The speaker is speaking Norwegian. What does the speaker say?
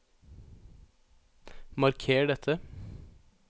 Marker dette